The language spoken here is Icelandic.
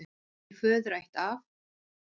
Í föðurætt af